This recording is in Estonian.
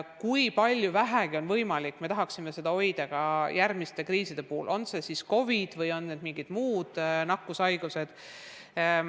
Kui vähegi on võimalik, me tahame seda kogemust kasutada ka järgmiste kriiside puhul, olgu selleks COVID või mingid muud nakkushaigused.